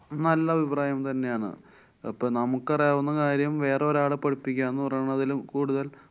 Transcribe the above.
നല്ല അഭിപ്രായം തന്നെയാണ്. അപ്പൊ നമുക്കറിയാവുന്ന കാര്യം വേറെ ഒരാളെ പഠിപ്പിക്ക്യാന്നു പറയുന്നതില് കൂടുതല്‍